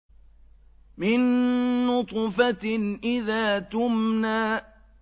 مِن نُّطْفَةٍ إِذَا تُمْنَىٰ